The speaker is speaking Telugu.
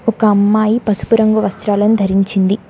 ఒక అమ్మాయి పసుపు రంగు వస్త్రాలను ధరించింది.